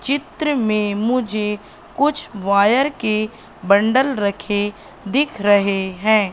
चित्र में मुझे कुछ वायर के बंडल रखें दिख रहे हैं।